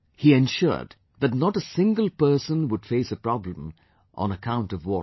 He ensured that not a single person would face a problem on account of water